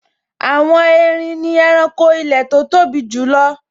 Àwọn erin ni ẹranko ilẹ̀ tó tóbi jùlọ